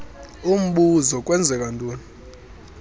umbuzo kwenzeka ntoni